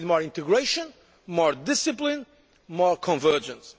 area. We need more integration, more discipline, more convergence.